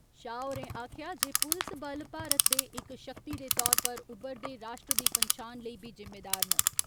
शाह होरें आक्खेया जे पुलस बल भारत दे इक शक्ति दे तौर पर उब्बरदे राश्ट्र दी पंछान लेई बी जिम्मेदार न।